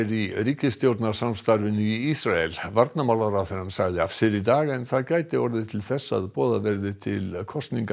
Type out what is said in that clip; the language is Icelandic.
í ríkisstjórnarsamstarfinu í Ísrael varnarmálaráðherrann sagði af sér í dag en það gæti leitt til þess að boðað verði til kosninga